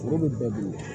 Foro bɛ bɛɛ bolo